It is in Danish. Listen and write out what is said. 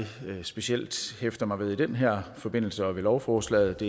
specielt hæfter mig ved i den her forbindelse og ved lovforslaget